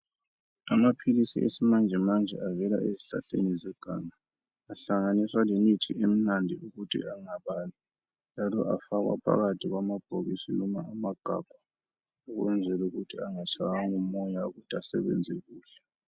Amaphilisi yesimanjemanje avela ezihlahleni zeganga, ahlanganiswa lemithi emnandi ukuthi engababi njalo afakwa phakathi kwamabhokisi noma amagabha ukwenzela ukuthi angashaywa ngumoya ukuthi asebenze kuhle.